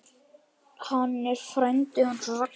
Hann er frændi hans Ragga.